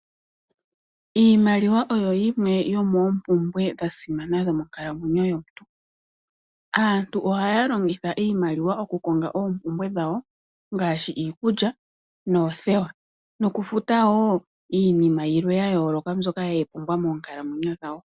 Iimaliwa oyo yimwe yomoompumbwe dha simana dhomonkalamwenyo yomuntu. Aantu ohaya longitha iimaliwa mokukonga oompumbwe dhawo ngaashi iikulya noothewa. Nokufuta wo iinima yilwe ya yooloka ye yi pumbwa moonkalamwenyo dhawo.